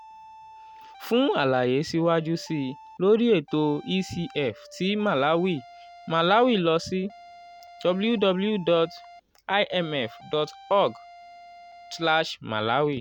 [ two ] fun alaye siwaju sii lori eto ecf ti malawi malawi lọ si: www.imf.org/malawi